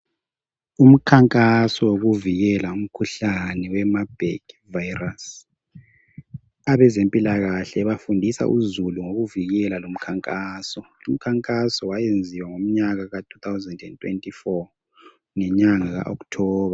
Umkhankaso wokuvikela umkhuhlane wegcikwane lemabhegi. Abezempilakahle bafundisa abantu ukuvikela lumkhuhlane. Umkhankaso lo wenziwa ngomnyaka ka 2024 ngenyanga uMfumfu.